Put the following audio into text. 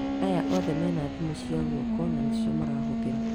Aya othe mena thimũ cia guoko na nĩcio marahũthĩra